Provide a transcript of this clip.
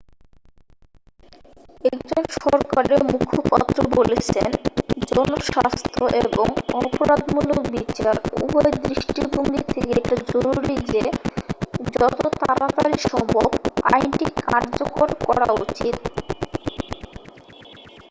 "একজন সরকারের মুখপাত্র বলেছেন "জনস্বাস্থ্য এবং অপরাধমূলক বিচার উভয় দৃষ্টিভঙ্গি থেকে এটা জরুরি যে যত তাড়াতাড়ি সম্ভব আইনটি কার্যকর করা উচিত।""